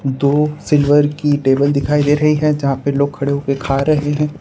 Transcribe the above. दो सिल्वर की टेबल दिखाई दे रही हैं जहां पर लोग खड़े हो के खा रहे हैं।